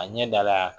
A ɲɛ dala